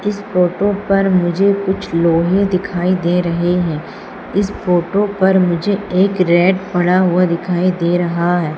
इस फोटो पर मुझे कुछ लोहे दिखाई दे रहें हैं इस फोटो पर मुझे एक रैट पड़ा हुआ दिखाई दे रहा हैं।